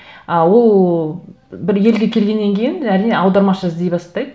а ол бір елге келгеннен кейін әрине аудармашы іздей бастайды